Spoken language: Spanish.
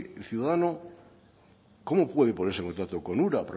el ciudadano cómo puede ponerse en contacto con ura